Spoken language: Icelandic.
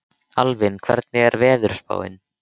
Alvin, hvernig er veðurspáin?